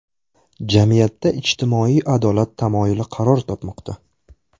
Jamiyatda ijtimoiy adolat tamoyili qaror topmoqda.